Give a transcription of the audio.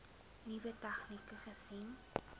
nuwe tegnieke gesien